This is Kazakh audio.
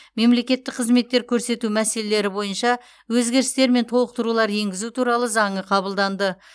мемлекеттік қызметтер көрсету мәселелері бойынша өзгерістер мен толықтырулар енгізу туралы заңы қабылданды